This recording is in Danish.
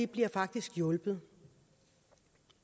bliver faktisk hjulpet